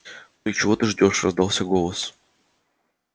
и чего ты ждёшь раздался голос